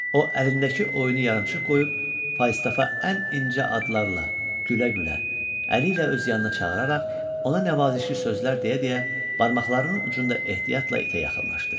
O, əlindəki oyunu yarımçıq qoyub Falstafa ən incə adlarla, gülə-gülə, əli ilə öz yanına çağıraraq ona nəvazişli sözlər deyə-deyə barmaqlarının ucunda ehtiyatla itə yaxınlaşdı.